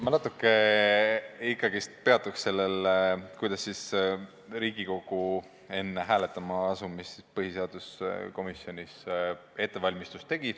Ma natukene ikkagi peatun sellel, kuidas Riigikogu enne hääletama asumist põhiseaduskomisjonis ettevalmistusi tegi.